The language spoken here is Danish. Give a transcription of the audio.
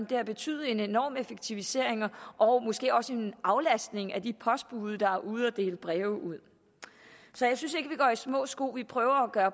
det har betydet en enorm effektivisering og måske også en aflastning for de postbude der er ude at dele breve ud så jeg synes ikke vi går i små sko vi prøver at